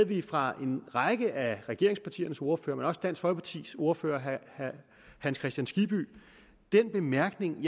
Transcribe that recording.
vi fra en række af regeringspartiernes ordførere men også dansk folkepartis ordfører herre hans kristian skibby den bemærkning